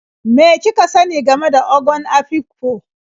Me kika sani game da Ogon Afikpo?